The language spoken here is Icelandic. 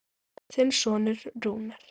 Þinn sonur Rúnar.